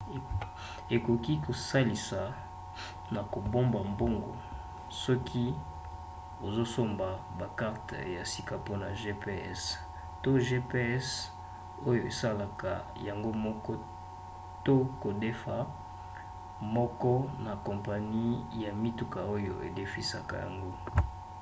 ekoki kosalisa na kobomba mbongo soki ozosomba bakarte ya sika mpona gps to gps oyo esalaka yango moko to kodefa moko na kompani ya mituka oyo edefisaka yango